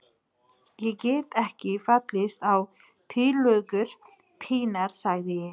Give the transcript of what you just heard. Ég get ekki fallist á tillögur þínar sagði ég.